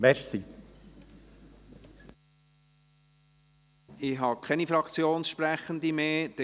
Es haben sich keine weiteren Fraktionssprechende gemeldet.